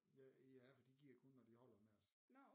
Ja for de giver kun når de holder med os